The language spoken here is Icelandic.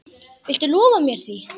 Viltu lofa mér því?